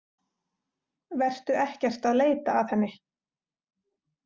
Vertu ekkert að leita að henni.